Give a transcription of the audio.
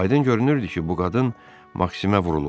Aydın görünürdü ki, bu qadın Maksimə vurulub.